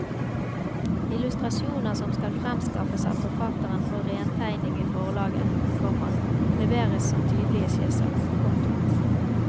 Illustrasjoner som skal fremskaffes av forfatteren for rentegning i forlaget, komma leveres som tydelige skisser. punktum